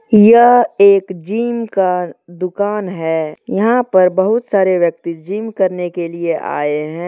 यह एक जिम का दुकान हैयहां पर बहुत सारे व्यक्ति जिम करने के लिए आए हैं।